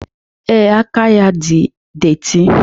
Ee, aka ya dị detị